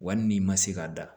Wali n'i ma se k'a da